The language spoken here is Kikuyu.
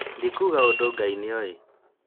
ndikuga ũndũ Ngai nĩ oĩ